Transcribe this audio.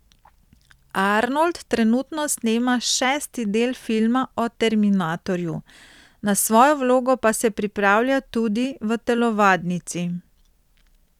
Arnold trenutno snema šesti del filma o Terminatorju, na svojo vlogo pa se pripravlja tudi v telovadnici.